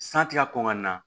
San ti ka kɔn ka na